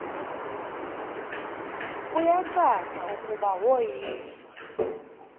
kuyacaca ukuba woyiswa